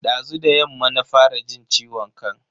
Dazu da yamma na fara jin ciwon kan.